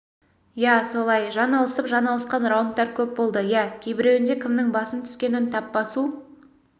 иә солай жан алып жан алысқан раундтар көп болды иә кейбіреуінде кімнің басым түскенін тап басу